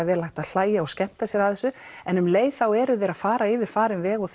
vel hægt að hlæja og skemmta sér að þessu en um leið eru þeir að fara yfir farinn veg og